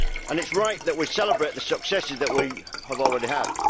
It is right that we celebrate the successes that we have already had.